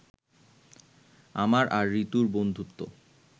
আমার আর ঋতুর বন্ধুত্ব